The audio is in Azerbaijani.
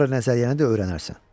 Sonra nəzəriyyəni də öyrənərsən.